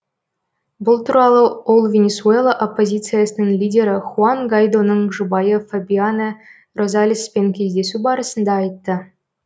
бұл туралы ол венесуэла оппозициясының лидері хуан гайдоның жұбайы фабиана розалеспен кездесу барысында айтты